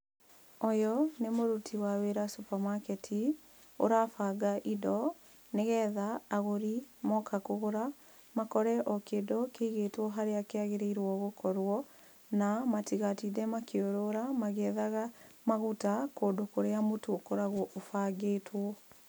Ũyũ nĩ mũruti wa wĩra supermarket ũrabanga indo nĩ getha agũri moka kũgũra makore kĩndũ kĩigĩtwo harĩa kĩagĩrĩire gũkorwo na matigatinde makĩũrũra magĩethaga maguta kũndũ kũrĩa mũtu ũkoragwo ũbangĩtwo.